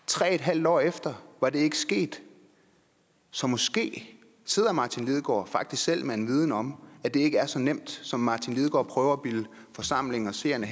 tre en halv år efter var det ikke sket så måske sidder herre martin lidegaard faktisk selv med en viden om at det ikke er så nemt som herre martin lidegaard prøver at bilde forsamlingen og seerne